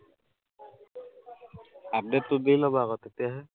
update টো দি লবা আকৌ তেতিয়াহে